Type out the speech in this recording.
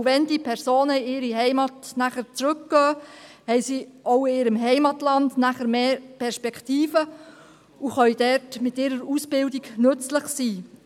Auch wenn diese Personen danach in ihre Heimat zurückkehren, haben sie nachher auch in ihrem Heimatland mehr Perspektiven und können dort mit ihrer Ausbildung nützlich sein.